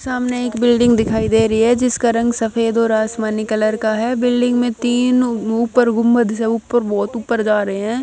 सामने एक बिल्डिंग दिखाई दे रही है जिसका रंग सफेद और आसमानी कलर का है बिल्डिंग में तीन उपर गुंबद सा उपर बहोत ऊपर जा रहे हैं।